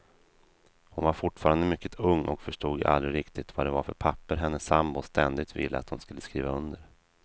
Hon var fortfarande mycket ung och förstod aldrig riktigt vad det var för papper hennes sambo ständigt ville att hon skulle skriva under.